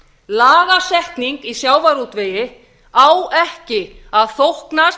lagasetning í sjávarútvegi á ekki að þóknast